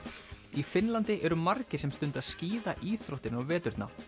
í Finnlandi eru margir sem stunda skíðaíþróttina á veturna